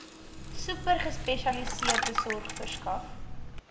supergespesialiseerde sorg verskaf